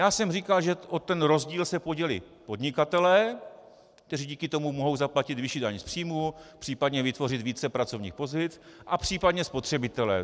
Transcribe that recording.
Já jsem říkal, že o ten rozdíl se podělí podnikatelé, kteří díky tomu mohou zaplatit vyšší daň z příjmů, případně vytvořit více pracovních pozic, a případně spotřebitelé.